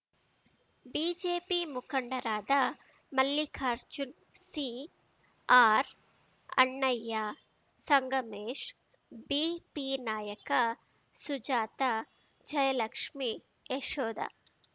BJP ಮುಖಂಡರಾದ Mallikarjun CR Annaiah Sangamesh BP Nayaka Sujatha Jayalakshmi Yashoda